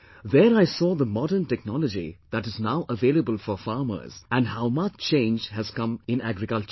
There I saw the modern technology that is now available for farmers and how much change has come in agriculture